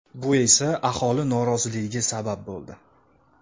Bu esa aholi noroziligiga sabab bo‘ldi.